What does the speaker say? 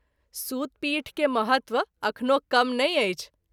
सूत पीठ के महत्व अखनो कम नहिं अछि।